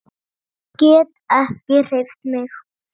Get ekki hreyft mig.